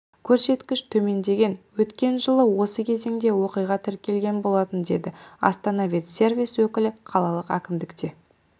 көрсеткіш төмендеген өткен жылы осы кезеңде оқиға тіркелген болатын деді астана ветсервис өкілі қалалық әкімдікте